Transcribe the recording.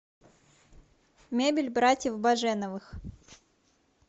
мебель братьев баженовых